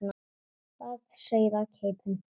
Það sauð á keipum.